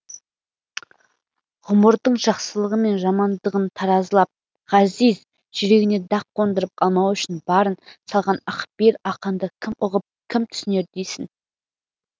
ғұмырдың жақсылығы мен жамандығын таразылап ғазиз жүрегіне дақ қондырып алмау үшін барын салған ақпейіл ақынды кім ұғып кім түсінер дейсің